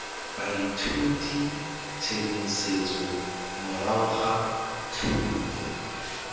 baithuti tshedimosetso morago ga thuto